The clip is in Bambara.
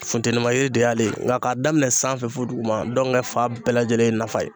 Funteni ma yiri de y'ale ye, nka k'a daminɛ sanfɛ fɔ duguma ndɔnkɛ fan bɛɛ lajɛlen ye nafa ye.